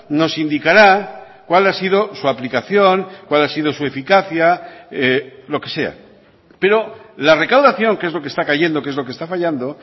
nos indicará cuál ha sido su aplicación cuál ha sido su eficacia lo que sea pero la recaudación que es lo que está cayendo que es lo que está fallando